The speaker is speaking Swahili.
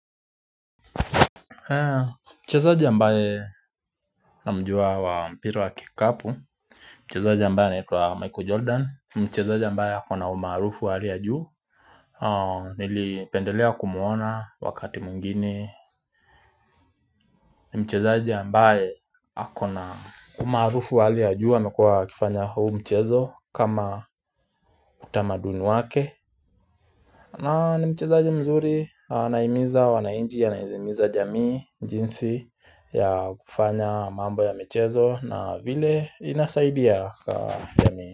Mchezaji ambaye namjua wa mpira wa kikapu Mchezaji ambaye anaitwa michael jordan Mchezaji ambaye ako na umaarufu wa hali ya juu Nilipendelea kumuona wakati mwengine Mchezaji ambaye ako na umaarufu wa hali ya juu amekua akifanya huu mchezo kama utamaduni wake na ni mchezaji mzuri anaimiza wanainji anaimiza jamii jinsi ya kufanya mambo ya michezo na vile inasaidia kwa jamii.